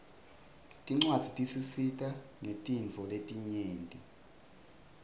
tincuadzi tisisita ngetintfo letinyenti